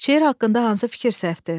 Şeir haqqında hansı fikir səhvdir?